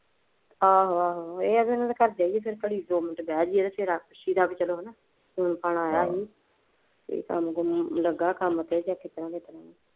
ਆਹੋ ਆਹੋ, ਇਹ ਨਾ ਇਹਦੇ ਘਰ ਦੀਆ Phone ਫੂਨ ਆਉਂਦਾ ਸੀ।